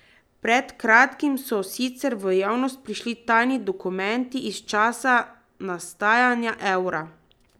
Pred kratkim so sicer v javnost prišli tajni dokumenti iz časa nastajanja evra.